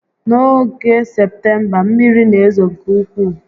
N'oge Septemba, mmiri n'ezo nke ukwuu